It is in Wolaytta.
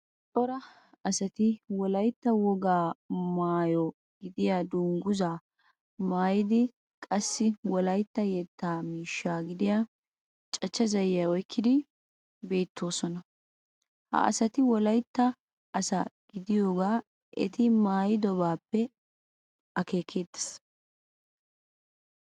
Cora asati Wolaytta wogaa maayo gidiya dungguzzaa maayidi qassi Wolaytta yetta miishshaa gidiya cachcha zayiya oyqqidi beettoosona. Ha asati Wolaytta asa gidiyogaa eti maayidobaappe akeekeettes.